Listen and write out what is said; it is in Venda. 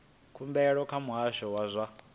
khumbelo kha muhasho wa zwa